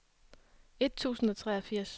et tusind og treogfirs